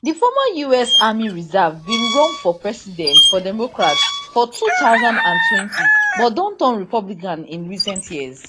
di former us army reserve bin run for president for democrat for two thousand and twenty but don turn republican in recent years